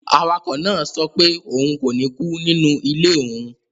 Awakọ̀ náà sọ pé òun kò ní kú nínú ilé òun